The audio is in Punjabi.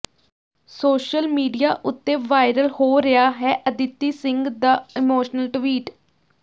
ਸੋਸ਼ਲ ਮੀਡੀਆ ਉਤੇ ਵਾਇਰਲ ਹੋ ਰਿਹਾ ਹੈ ਅਦਿਤੀ ਸਿੰਘ ਦਾ ਇਮੋਸ਼ਨਲ ਟਵਿਟ